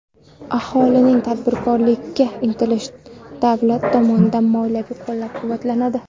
Aholining tadbirkorlikka intilishi davlat tomonidan moliyaviy qo‘llab-quvvatlanadi.